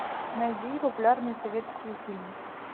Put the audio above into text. найди популярные советские фильмы